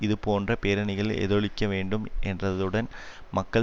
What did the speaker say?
இதுபோன்ற பேரணிகளில் எதிரொலிக்க வேண்டும் என்றதுடன் மக்கள்